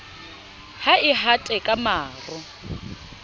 ha e hate ka maro